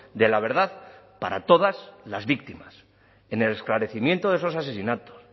de la verdad para todas las víctimas en el esclarecimiento de esos asesinatos